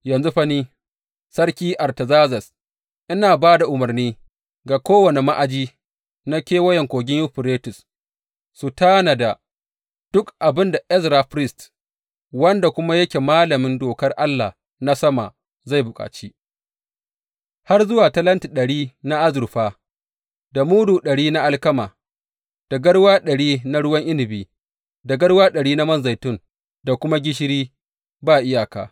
Yanzu fa ni, Sarki Artazerzes, ina ba da umarni ga kowane ma’aji na Kewayen Kogin Yuferites su tanada duk abin da Ezra firist, wanda kuma yake malamin Dokar Allah na sama zai bukaci, har zuwa talenti ɗari na azurfa, da mudu ɗari na alkama, da garwa ɗari na ruwan inabi, da garwa ɗari na man zaitun, da kuma gishiri ba iyaka.